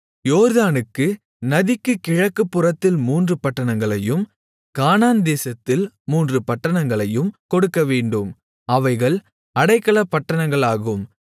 யோர்தானுக்கு நதிக்கு கிழக்கு புறத்தில் மூன்று பட்டணங்களையும் கானான்தேசத்தில் மூன்று பட்டணங்களையும் கொடுக்கவேண்டும் அவைகள் அடைக்கலப்பட்டணங்களாகும்